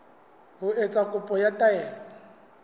ho etsa kopo ya taelo